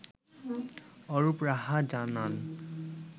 অরুপ রাহা জানান